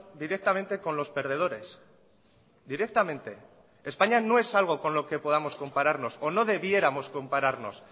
directamente con los perdedores directamente españa no es algo con lo que podamos compararnos o no debiéramos compararnos